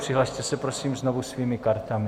Přihlaste se prosím znovu svými kartami.